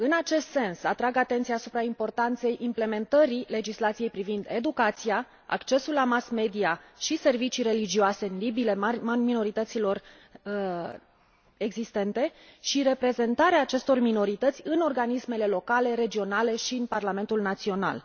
În acest sens, atrag atenția asupra importanței implementării legislației privind educația, accesul la mass media și servicii religioase în limbile minorităților existente și reprezentarea acestor minorități în organismele locale, regionale și în parlamentul național.